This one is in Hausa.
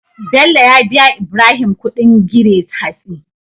Bello ya biya Ibrahim Ƙudin gire hatsi